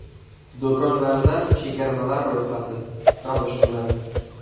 Do‘konlarda chegirmalar ro‘yxati: Va boshqalar.